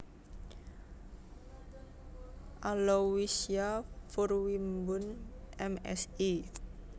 Alowisya Furwembun M Si